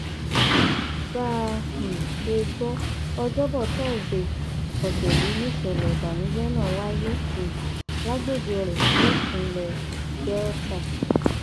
bá a um ṣe gbọ ọjọbọ tọsídẹẹ ọsẹ yìí nìṣẹlẹ ìbànújẹ náà wáyé um lágbègbè oleh nípínlẹ delta